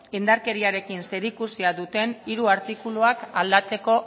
indarkeriarekin zerikusia duten hiru artikuluak aldatzeko